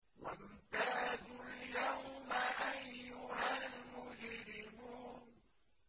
وَامْتَازُوا الْيَوْمَ أَيُّهَا الْمُجْرِمُونَ